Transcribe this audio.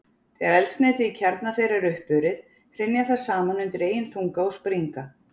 Þegar eldsneytið í kjarna þeirra er uppurið, hrynja þær saman undan eigin þunga og springa.